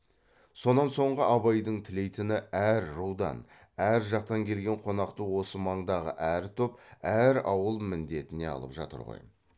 сонан соңғы абайдың тілейтіні әр рудан әр жақтан келген қонақты осы маңдағы әр топ әр ауыл міндетіне алып жатыр ғой